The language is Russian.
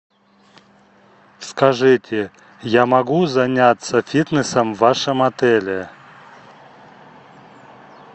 скажите я могу заняться фитнесом в вашем отеле